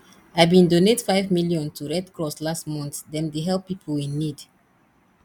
i bin donate five million to red cross last month dem dey help pipo in need